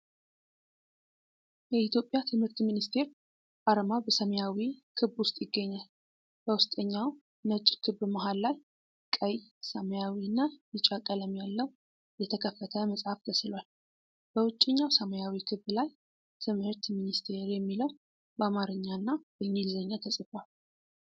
የኢትዮጵያ ትምህርት ሚኒስቴር አርማ በሰማያዊ ክብ ውስጥ ይገኛል። በውስጠኛው ነጭ ክብ መሃል ላይ ቀይ፣ ሰማያዊና ቢጫ ቀለም ያለው የተከፈተ መጽሐፍ ተሥሏል። በውጭኛው ሰማያዊ ክብ ላይ "ትምህርት ሚኒስቴር" የሚለው በአማርኝና በእንግሊዝኛ ተጽፏል።